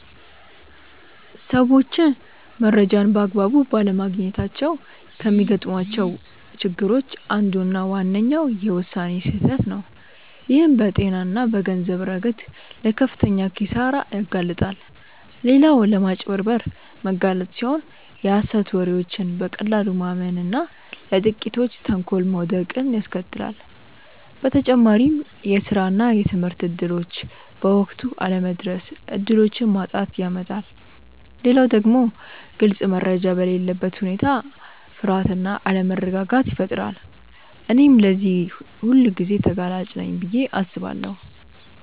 ሰዎች መረጃን በአግባቡ ባለማግኘታቸው ከሚገጥሟቸው ችግሮች አንዱና ዋነኛው የውሳኔ ስህተት ነው፣ ይህም በጤና እና በገንዘብ ረገድ ለከፍተኛ ኪሳራ ያጋልጣል። ሌላው ለማጭበርበር መጋለጥ ሲሆን የሀሰት ወሬዎችን በቀላሉ ማመን እና ለጥቂቶች ተንኮል መውደቅን ያስከትላል። በተጨማሪም የስራ እና የትምህርት እድሎች በወቅቱ አለመድረስ እድሎችን ማጣትን ያመጣል። ሌላው ደግሞ ግልጽ መረጃ በሌለበት ሁኔታ ፍርሃት እና አለመረጋጋት ይፈጠራል። እኔም ለዚህ ሁልጊዜ ተጋላጭ ነኝ ብዬ አስባለሁ።